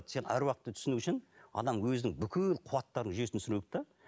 сен аруақты түсіну үшін адам өзінің бүкіл қуаттарының жүйесін түсіну керек те